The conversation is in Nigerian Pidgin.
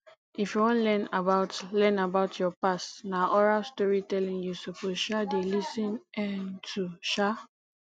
if you wan learn about learn about your past na oral storytelling you suppose um dey lis ten um to um